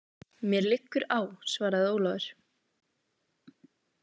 Mér liggur á, svaraði Ólafur.